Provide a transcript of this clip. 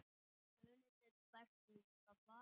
Munið þið hvernig það var?